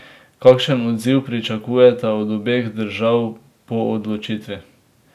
Kakšen odziv pričakujete od obeh držav po odločitvi?